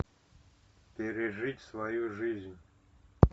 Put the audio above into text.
пережить свою жизнь